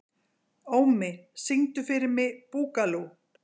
Ómi, syngdu fyrir mig „Búkalú“.